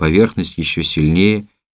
поверхность ещё сильнее